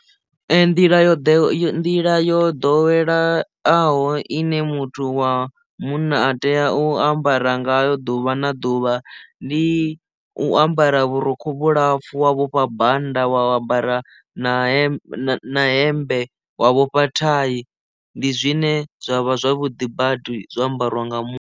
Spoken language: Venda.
nḓila yo yo nḓila yo ḓoweleaho ine muthu wa munna a tea u ambara ngayo ḓuvha na ḓuvha ndi u ambara vhurukhu vhulapfhu wa vhofha bannda wa vha ambara na hemmbe wa vhofha thai ndi zwine zwavha zwavhuḓi badi zwa ambariwa nga munna.